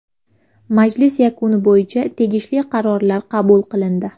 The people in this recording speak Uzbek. Majlis yakuni bo‘yicha tegishli qarorlar qabul qilindi.